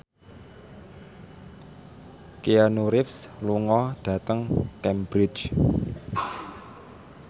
Keanu Reeves lunga dhateng Cambridge